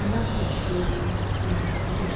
aláṣẹṣọọrẹ tirẹ sílẹ